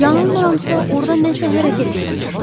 Yanılmıramsa, orda nəsə hərəkət eləyir.